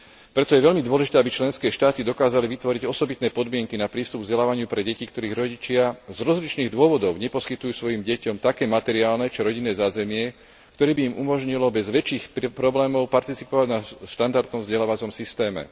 Preto je veľmi dôležité, aby členské štáty dokázali vytvoriť osobitné podmienky na prístup k vzdelávaniu pre deti, ktorých rodičia z rozličných dôvodov neposkytujú svojim deťom také materiálne či rodinné zázemie, ktoré by im umožnilo bez väčších problémov participovať na štandardnom vzdelávacom systéme.